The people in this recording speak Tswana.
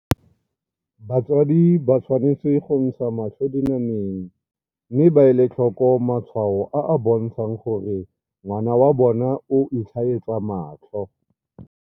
Batsadi ba tshwanetse go ntsha matlho dina meng mme ba ele tlhoko matshwao a a bontshang gore ngwana wa bona o itlhaetsa matlho.